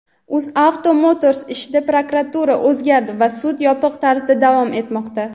"UzAuto Motors" ishida prokuror o‘zgardi va sud yopiq tarzda davom etmoqda.